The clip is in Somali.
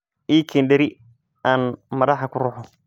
ii keen dheri aan madaxa ku ruxo.